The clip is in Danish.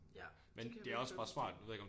Ja det kan jeg virkelig godt forstå